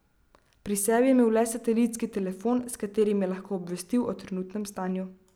Pri sebi je imel le satelistski telefon, s katerim je lahko obvestil o trenutnem stanju.